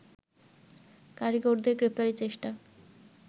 কারিগরদের গ্রেপ্তারের চেষ্টা